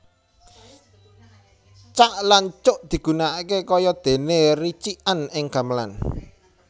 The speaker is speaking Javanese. Cak lan cuk digunakaké kaya déné ricikan ing gamelan